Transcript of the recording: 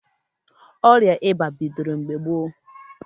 Ọrịa ịba bidoro mgbe gboo.